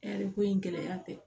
ko in gɛlɛya tɛ